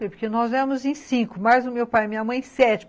Porque nós éramos em cinco, mais o meu pai e minha mãe em sete.